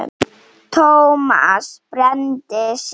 Thomas brenndi sig.